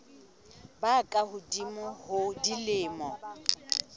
ba ka hodimo ho dilemo